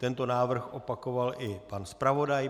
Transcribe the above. Tento návrh opakoval i pan zpravodaj.